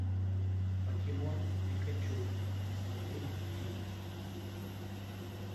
покемон пикачу смотреть фильм